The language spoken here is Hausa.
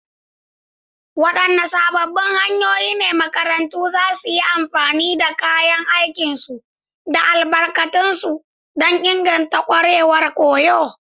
Wadanne sabbin hanyoyi ne makarantu za su iya amfani da kayan aikinsu da albarkatunsu don inganta kwarewar koyo?